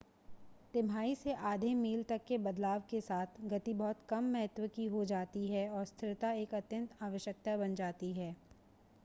तिमाही से आधे-मील तक के बदलाव के साथ गति बहुत कम महत्व की हो जाती है और स्थिरता एक अत्यंत आवश्यकता बन जाती है